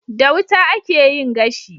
Da wuta akeyin gashi